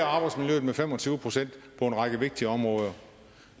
arbejdsmiljøet med fem og tyve procent på en række vigtige områder